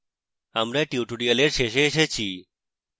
আমরা tutorial শেষে এসেছি